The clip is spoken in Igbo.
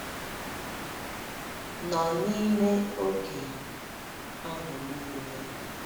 nọ n’ime oge ahụ niile?